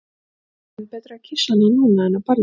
Það er enn betra að kyssa hana núna en á ballinu.